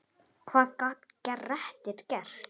Hvað gat Grettir gert?